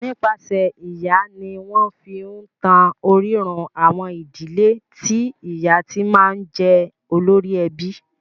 Nípasẹ̀ ìyá ni wọ́n fi ń tan orírun àwọn ìdílé tí ìyá ti máa ń jẹ́ olórí ẹbí.